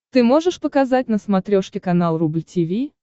ты можешь показать на смотрешке канал рубль ти ви